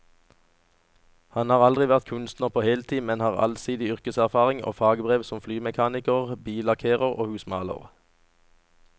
Han har aldri vært kunstner på heltid, men har allsidig yrkeserfaring og fagbrev som flymekaniker, billakkerer og husmaler.